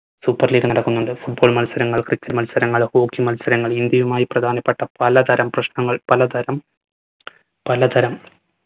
super league നടക്കുന്നുണ്ട്. football മത്സരങ്ങൾ cricket മത്സരങ്ങൾ hockey മത്സരങ്ങൾ ഇന്ത്യയുമായി പ്രധാനപ്പെട്ട പല തരം പ്രശ്നങ്ങൾ പല തരം പല തരം